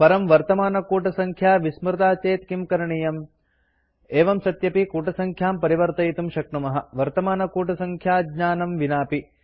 परं वर्तमानकूटसङ्ख्या विस्मृता चेत् किं करणीयम् एवं सत्यपि कूटसङ्ख्यां परिवर्तयितुं शक्नुमः वर्तमानकूटसङ्ख्याज्ञानं विनापि